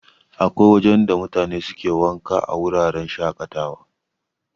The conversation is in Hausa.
Akwai wajen da mutane suke wanka a wuraren shaƙatawa.